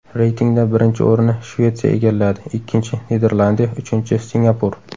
Reytingda birinchi o‘rinni Shvetsiya egalladi, ikkinchi - Niderlandiya, uchinchi - Singapur.